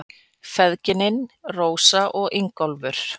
Feðginin, Rósa og Ingólfur.